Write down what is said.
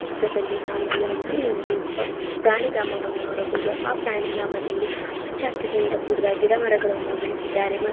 ಚಿತ್ರದಲ್ಲಿ ನಾವು ಯಾವುದೊ ಒಂದು ಪ ಪ್ರಾಣಿಧಾಮವನ್ನು ನೋಡಬಹುದು. ಆ ಪ್ರಾಣಿಧಾಮದಲ್ಲಿ ಹಚ್ಚ ಹಸಿರಿನಿಂದ ಕೂಡಿದ ಗಿಡ ಮರಗಳನ್ನು ಬೆಳೆಸಿದ್ದಾರೆ. ಮ--